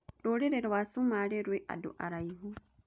Rũrĩrĩ rwa Somali rwĩ andũ araihu.